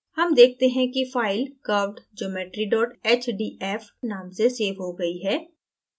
हम देखते हैं कि file curvedgeometry hdf नाम से सेव हो गई है